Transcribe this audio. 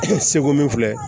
Seko min filɛ